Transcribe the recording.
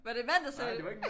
Var det en mand der sagde det